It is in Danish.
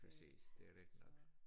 Præcis det rigtigt nok